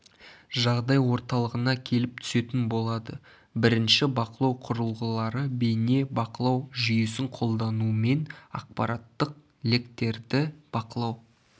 жағдай орталығына келіп түсетін болады бірінші бақылау құрылғылары бейне бақылау жүйесін қолданумен ақпараттық лектерді бақылау